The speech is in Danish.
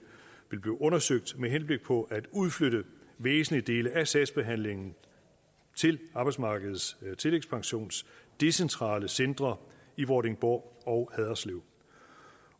vil blive undersøgt med henblik på at udflytte væsentlige dele af sagsbehandlingen til arbejdsmarkedets tillægspensions decentrale centre i vordingborg og haderslev